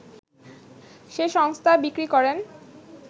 সেই সংস্থা বিক্রি করেন